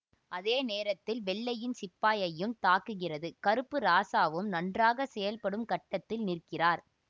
அதே நேரத்தில் வெள்ளையின் சிப்பாயையும் தாக்குகிறது கருப்பு இராசாவும் நன்றாக செயல்படும் கட்டத்தில் நிற்கிறார்